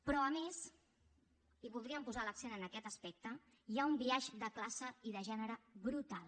però a més i voldríem posar l’accent en aquest aspecte hi ha un biaix de classe i de gènere brutal